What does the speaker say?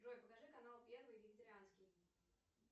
джой покажи канал первый вегетарианский